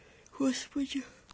господи